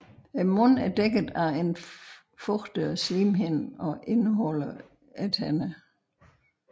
Munden er dækket af en fugtig slimhinde og indeholder tænderne